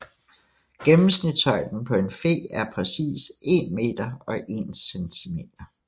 Gennemsnitshøjden på en fe er præcis 1 m og 1 cm